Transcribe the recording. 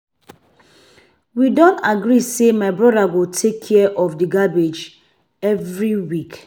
We don agree say my brother go take care of the garbage every week.